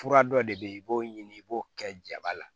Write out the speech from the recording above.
Fura dɔ de bɛ yen i b'o ɲini i b'o kɛ jaba la